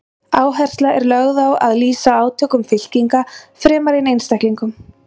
Áhersla er lögð á að lýsa átökum fylkinga fremur en einstaklingum.